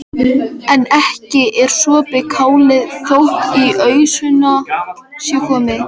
En ekki er sopið kálið þótt í ausuna sé komið.